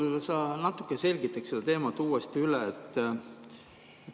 Võib-olla sa natuke selgitaksid seda teemat uuesti?